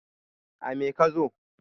a me ka zo ne?